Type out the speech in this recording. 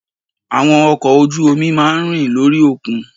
Àwọn ọkò ojú omi máa ń rìn lórí òkun